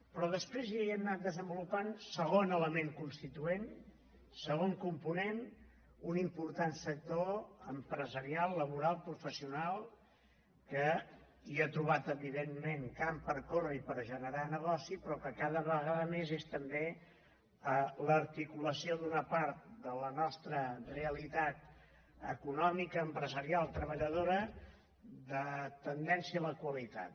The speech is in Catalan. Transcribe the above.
però després hi hem anat desenvolupant segon element constituent segon component un important sector empresarial laboral professional que hi ha trobat evidentment camp per córrer i per generar negoci però que cada vegada més és també l’articulació d’una part de la nostra realitat econòmica empresarial treballadora de tendència a la qualitat